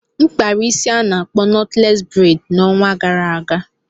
M kpara isi nke a na-akpọ knotless braid n'ọnwa gara aga.